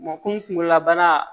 Makɔni la bana